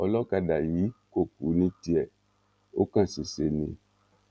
ọlọ́kadà yìí kò kú ní tiẹ̀ ò kán ṣèṣe ni